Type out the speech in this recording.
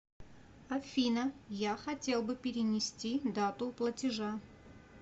афина я хотел бы перенести дату платежа